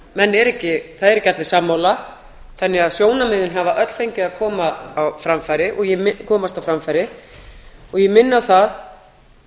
það eru ekki allir sammála þannig að sjónarmiðin hafa öll fengið að komast á framfæri og ég minni á það